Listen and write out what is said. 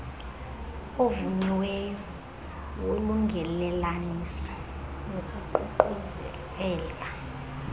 ovunyiweyo wolungelelaniso nokuququzelela